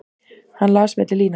Hann las milli línanna.